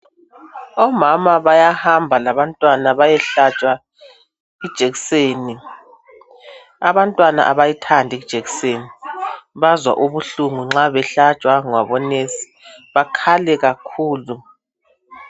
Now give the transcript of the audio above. Omama bayahamba labantwana bayehlatshwa ijekiseni , abantwana abayithandi ijekiseni bazwa ubuhlungu nxa behlatshwa ngabo nurse bakhale kakhulu